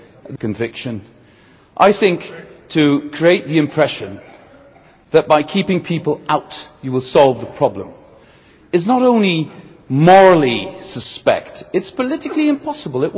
That is my deep conviction. I think to create the impression that, by keeping people out, we will solve the problem is not only morally suspect but is politically impossible.